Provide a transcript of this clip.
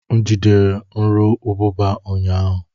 M jidere nru ubụba ụnyahụ.